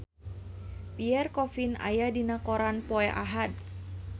Pierre Coffin aya dina koran poe Ahad